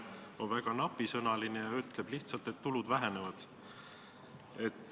See seletus on väga napisõnaline ja ütleb lihtsalt, et tulud vähenevad.